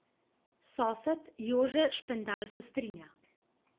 Sosed Jože Špendal se strinja.